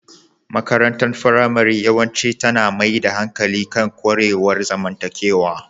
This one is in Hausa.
Makarantar firamare yawanci tana mai da hankali kan ƙwarewar zamantakewa.